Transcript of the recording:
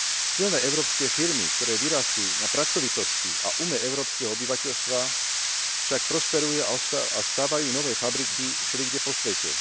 Silné európske firmy, ktoré vyrástli na pracovitosti a ume európskeho obyvateľstva, však prosperujú a stavajú nové fabriky všelikde po svete.